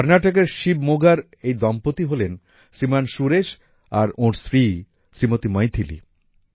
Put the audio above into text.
কর্নাটকের শিবমোগার এই দম্পতি হলেন শ্রীমান সুরেশ আর ওঁর স্ত্রী শ্রীমতি মৈথিলী